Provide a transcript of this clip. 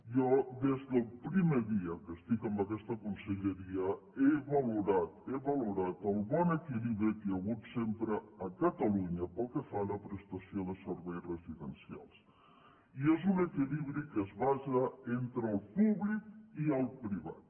jo des del primer dia que estic en aquesta conselleria he valorat he valorat el bon equilibri que hi ha hagut sempre a catalunya pel que fa a la prestació de serveis residencials i és un equilibri que es basa entre el públic i el privat